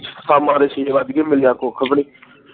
ਸ਼ਾਮਾਂ ਦੇ ਛੇ ਵੱਜ ਗੇ ਮਿਲਿਆ ਕੁਖ ਵੀ ਨੀ